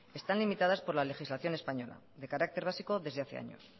están limitadas por la legislación española de carácter básico desde hace años